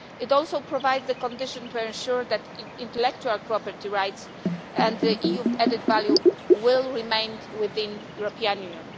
It also provides conditions to ensure that intellectual property rights and EU added value will remain within the European Union.